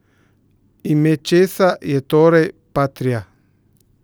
Ime česa je torej patria?